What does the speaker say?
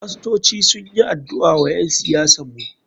Fastoci sunyi adu'a wa ƴen siyasan mu.